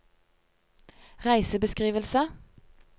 reisebeskrivelse